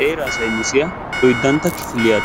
Heeraa saynissiyaa oyddantta kifiliyaa